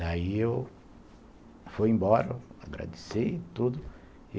Daí eu fui embora, agradeci e tudo e